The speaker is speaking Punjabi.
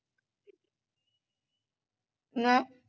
ਨਾ